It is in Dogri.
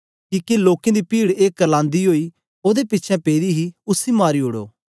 किके लोकें दी पीड ए करलांदी ओई ओदे पिछें पेदी ही उसी मारी उडो